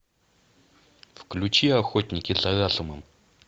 включи охотники за разумом